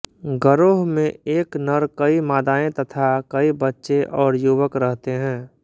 गरोह में एक नर कई मादाएँ तथा कई बच्चे और युवक रहते हैं